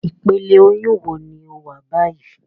Ipele oyun wo ni o wa bayi?